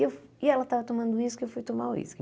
E ela estava tomando o uísque, eu fui tomar o uísque.